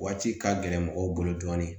Waati ka gɛlɛn mɔgɔw bolo dɔɔnin